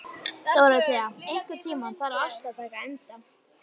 Dórótea, einhvern tímann þarf allt að taka enda.